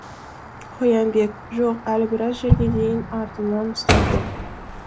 қоянбек жоқ әлі біраз жерге дейін артымнан ұстап жүр